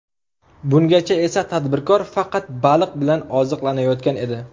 Bungacha esa tadbirkor faqat baliq bilan oziqlanayotgan edi.